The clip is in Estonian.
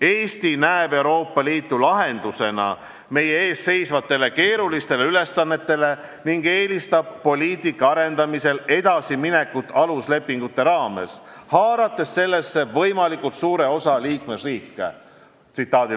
Eesti näeb Euroopa Liitu lahendusena meie ees seisvatele keerulistele ülesannetele ning eelistab poliitika arendamisel edasiminekut aluslepingute raames, haarates sellesse võimalikult suure osa liikmesriike.